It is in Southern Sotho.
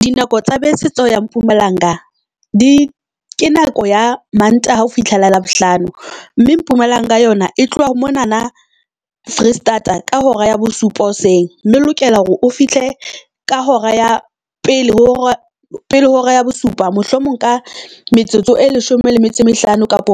Dinako tsa bese ta ho ya Mpumalanga di ke nako ya Mantaha ho fihlela Labohlano, mme Mpumalanga yona e tloha ho monana Foreisetata ka hora ya bosupa hoseng. Mme o lokela hore o fihle ka hora ya pele ho hora ya pele ho hora ya bosupa. Mohlomong ka metsotso e leshome le metso e mehlano kapa